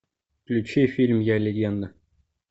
включи фильм я легенда